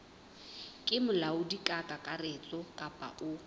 ke molaodi kakaretso kapa o